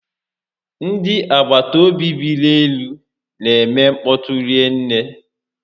Ndị agbataobi bi n'elu n'eme nkpọtu rinne